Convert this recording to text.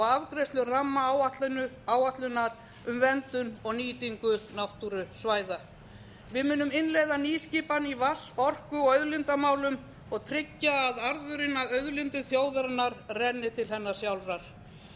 afgreiðslu rammaáætlunar um verndun og nýtingu náttúrusvæða við munum innleiða nýskipan í vatns orku og auðlindamálum og tryggja að arðurinn af auðlindum þjóðarinnar renni til hennar sjálfrar við munum